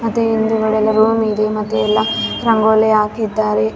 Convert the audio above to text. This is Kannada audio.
ನಿಂತಿದ್ದಾರೆ ಒಬ್ಬರು ನೀಲಿ ಬಣ್ಣದ ಸೀರೆ ಹಾಕಿದ್ದಾರೆ ಇನ್ನೊಬ್ಬರು--